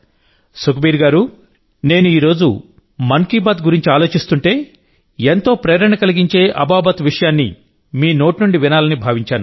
సుఖ్బీర్ గారూనేను ఈ రోజు మన్ కీ బాత్ గురించి ఆలోచిస్తుంటే ఎంతో ప్రేరణ కలిగించే అబాబత్ విషయాన్ని మీ నోటి నుండి వినాలని భావించాను